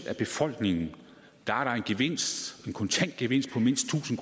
af befolkningen er der en gevinst en kontant gevinst på mindst tusind